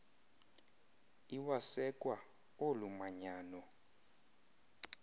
iwasekwa olu manyano